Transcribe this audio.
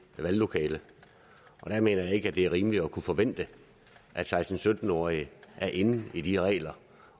valglokale der mener jeg ikke at det er rimeligt at kunne forvente at seksten til sytten årige er inde i de regler